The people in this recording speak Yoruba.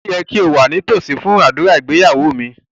Ó yẹ kí o wà nítòsí fún ádùrá ìgbéyàwó mi